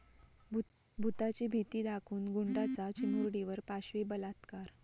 भुताची भीती दाखवून गुंडाचा चिमुरडीवर पाशवी बलात्कार